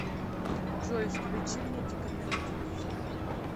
джой включи мне декамиротикус